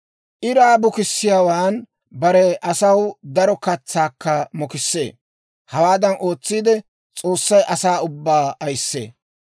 Iraa bukissiyaawan bare asaw daro katsaakka mokissee; hawaadan ootsiide S'oossay asaa ubbaa ayissee.